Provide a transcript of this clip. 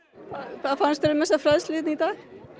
hvað fannst þér um þessa fræðslu í dag